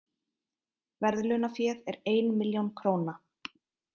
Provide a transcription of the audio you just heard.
Verðlaunaféð er ein milljón króna